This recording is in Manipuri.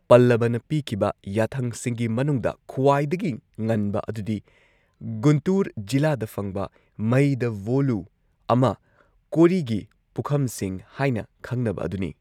ꯄꯜꯂꯕꯅ ꯄꯤꯈꯤꯕ ꯌꯥꯊꯪꯁꯤꯡꯒꯤ ꯃꯅꯨꯡꯗ ꯈ꯭ꯋꯥꯏꯗꯒꯤ ꯉꯟꯕ ꯑꯗꯨꯗꯤ ꯒꯨꯟꯇꯨꯔ ꯖꯤꯂꯥꯗ ꯐꯪꯕ ꯃꯌꯤꯗꯚꯣꯂꯨ ꯑꯃ ꯀꯣꯔꯤꯒꯤ ꯄꯨꯈꯝꯁꯤꯡ ꯍꯥꯏꯅ ꯈꯪꯅꯕ ꯑꯗꯨꯅꯤ꯫